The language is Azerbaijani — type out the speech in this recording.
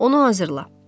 Onu hazırla.